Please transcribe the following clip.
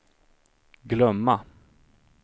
glömma